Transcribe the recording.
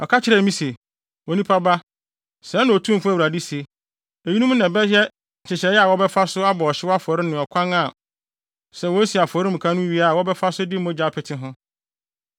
Ɔka kyerɛɛ me se, “Onipa ba, sɛɛ na Otumfo Awurade se: Eyinom na ɛbɛyɛ nhyehyɛe a wɔbɛfa so abɔ ɔhyew afɔre ne ɔkwan a, sɛ wosi afɔremuka no wie a wɔbɛfa so de mogya apete ho: